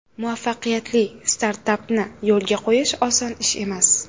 Muvaffaqiyatli startapni yo‘lga qo‘yish oson ish emas.